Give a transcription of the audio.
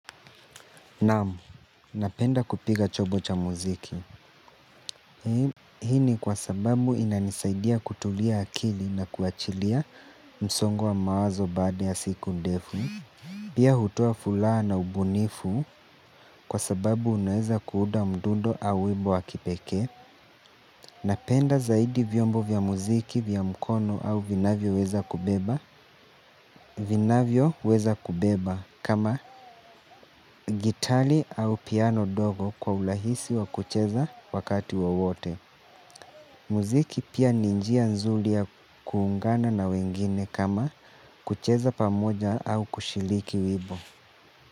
Naam, napenda kupiga chobo cha muziki. Hii ni kwa sababu inanisaidia kutulia akili na kuachilia msongo mawazo baada ya siku ndefu. Pia hutoa furaha na ubunifu kwa sababu unaweza kuuda mdundo au wimbo wa kipekee. Napenda zaidi vyombo vya muziki vya mkono au vinavyo weza kubeba. Vinavyoweza kubeba kama gitali au piano dogo kwa urahisi wa kucheza wakati wowote muziki pia ni njia nzuri ya kuungana na wengine kama kucheza pamoja au kushiriki wimbo.